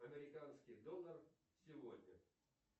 американский доллар сегодня